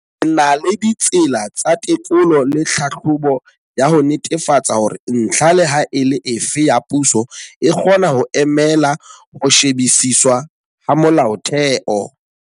Re na la ditsela tsa tekolo le tlhahlobo ya ho netefatsa hore ntlha leha e le efe ya puso e kgona ho emela ho shebisiswa ha molaotheo.